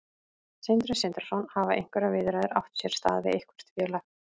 Sindri Sindrason: Hafa einhverjar viðræður átt sér stað við eitthvert félag?